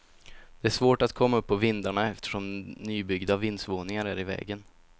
Det är svårt att komma upp på vindarna eftersom nybyggda vindsvåningar är i vägen.